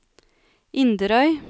Inderøy